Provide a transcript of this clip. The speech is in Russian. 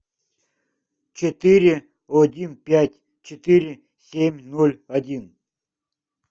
четыре один пять четыре семь ноль один